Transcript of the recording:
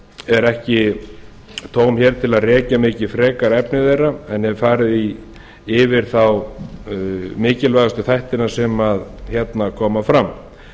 er ekki tóm hér til að rekja mikið frekar efni þeirra en hef farið yfir þá mikilvægustu þættina sem hérna koma fram